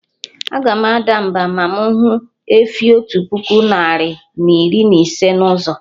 Aga m ada mba, ma mụ hụ efi otu puku narị na iri na ise na ụzọ